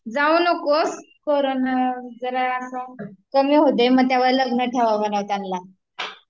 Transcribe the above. जाऊ नकोस, करोंना जरा अस्स कमी होऊ दे म तेवा लग्न ठेवा म्हणला तेनला